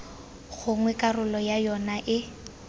gongwe karolo ya yona e